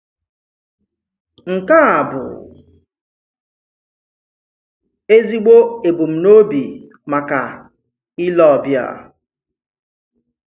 Nke a bụ ezigbo ebùmnòbi maka ìlè ọbìà.